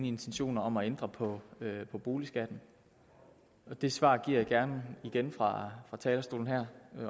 intentioner om at ændre på boligskatten det svar giver jeg gerne igen fra talerstolen her